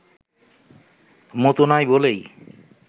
মতো নয় বলেই